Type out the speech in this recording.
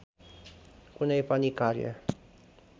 कुनै पनि कार्य